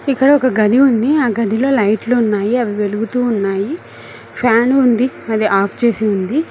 ఇక్కడ ఒక గది ఉంది ఆ గదిలో లైట్ లు ఉన్నాయి అవి వెలుగుతున్నాయి ఫ్యాన్ ఉంది అది ఆఫ్ చేసి ఉంది.